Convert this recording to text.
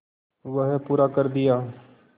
वह पूरा कर दिया